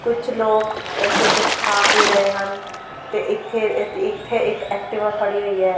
ਕੁੱਛ ਲੋਕ ਇੱਥੇ ਕੁੱਛ ਖਾ ਪੀ ਰਹੇ ਹਨ ਤੇ ਇੱਥੇ ਤੇ ਇੱਥੇ ਇੱਕ ਐਕਟਿਵਾ ਖੜ੍ਹੀ ਹੋਈ ਹੈ।